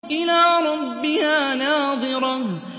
إِلَىٰ رَبِّهَا نَاظِرَةٌ